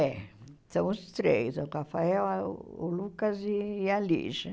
É. São os três, o Rafael, ah o Lucas e a Lígia.